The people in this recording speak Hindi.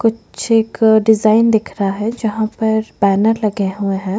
कुछ एक डिजाईन दिख रहा है जहाँ पर बँनर लगे हुए है।